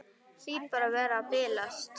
Hlýt bara að vera að bilast.